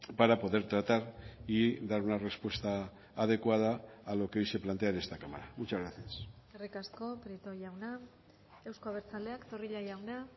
para poder tratar y dar una respuesta adecuada a lo que hoy se plantea en esta cámara muchas gracias eskerrik asko prieto jauna euzko abertzaleak zorrilla jauna